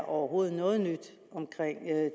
overhovedet er noget nyt omkring